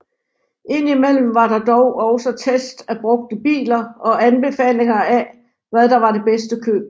Indimellem var der dog også tests af brugte biler og anbefalinger af hvad der var det bedste køb